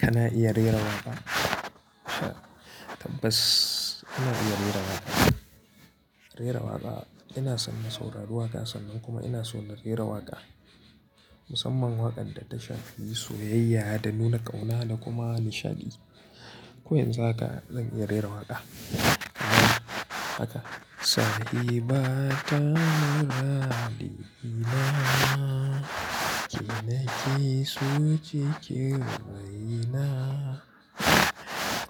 Kana iya rera waƙa? Tabbas ina iya rera waƙa. Rera waƙa, ina son na saurari waƙa sannan kuma ina so na rera waƙa. Musamman waƙar da ta shafi soyayya da nuna ƙauna da kuma nishadi. Ko yanzu haka zan iya rera waƙa. Haka. To ya danganta salimata muradina ke nakeso cikin raina